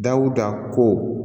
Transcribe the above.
Dawuda ko